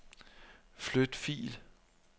Flyt fil.